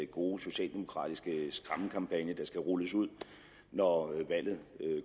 gode socialdemokratiske skræmmekampagne der skal rulles ud når valget